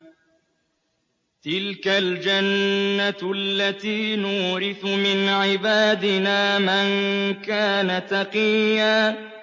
تِلْكَ الْجَنَّةُ الَّتِي نُورِثُ مِنْ عِبَادِنَا مَن كَانَ تَقِيًّا